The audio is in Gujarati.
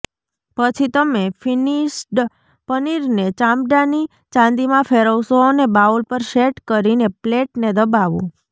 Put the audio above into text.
પછી તમે ફિનિશ્ડ પનીરને ચામડાની ચાંદીમાં ફેરવશો અને બાઉલ પર સેટ કરીને પ્લેટને દબાવો